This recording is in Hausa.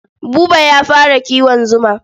Buba ya fara kiwon zuma.